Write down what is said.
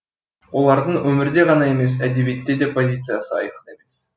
олардың өмірде ғана емес әдебиетте де позициясы айқын емес